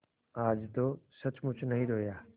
आज तो सचमुच नहीं रोया